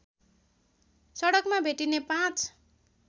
सडकमा भेटिने पाँच